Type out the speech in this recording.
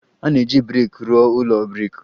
A na-eji brik rụọ ụlọ brik.